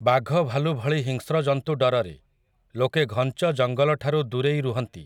ବାଘଭାଲୁ ଭଳି ହିଂସ୍ର ଜନ୍ତୁ ଡରରେ, ଲୋକେ ଘଞ୍ଚ ଜଙ୍ଗଲଠାରୁ ଦୂରେଇ ରୁହନ୍ତି ।